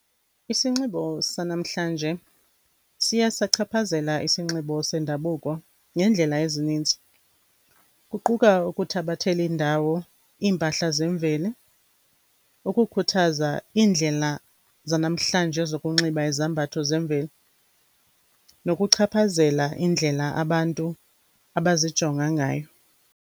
Isinxibo sanamhlanje siye sachaphazela isinxibo sendabuko ngendlela ezininzi, kuquka ukuthabathela indawo impahla zemveli, ukukhuthaza indlela zanamhlanje zokunxiba izambatho zemveli nokuchaphazela indlela abantu abazijonga ngayo.